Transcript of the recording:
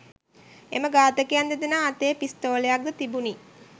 එම ඝාතකයන් දෙදෙනා අතේ පිස්තෝලයක් ද තිබුණි